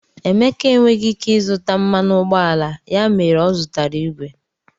Emeka enweghị ike ịzụta mmanụ ụgbọala, ya mere ọ zụtara igwe.